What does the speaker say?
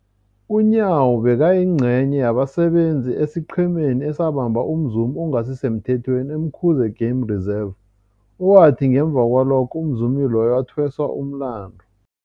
UNyawo bekayingcenye yabasebenza esiqhemeni esabamba umzumi ongasisemthethweni e-Umkhuze Game Reserve, owathi ngemva kwalokho umzumi loyo wathweswa umlandu.